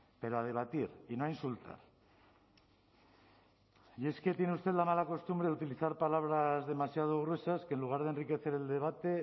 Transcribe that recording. pero a debatir y no a insultar y es que tiene usted la mala costumbre de utilizar palabras demasiado gruesas que en lugar de enriquecer el debate